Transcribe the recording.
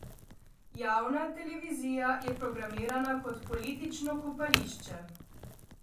Javna televizija je programirana kot politično kopališče.